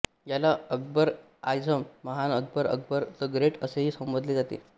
याला अकबरएआझम महान Akbar Akbar the Great असेही संबोधले जाते